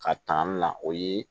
Ka tanu na o ye